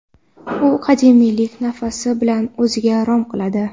U qadimiylik nafasi bilan o‘ziga rom qiladi.